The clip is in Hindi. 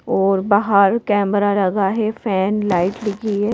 और बाहर कैमरा लगा है फैन लाइट लगी है।